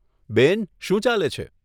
બેન, શું ચાલે છે?